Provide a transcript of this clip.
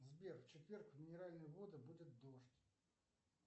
сбер в четверг в минеральные воды будет дождь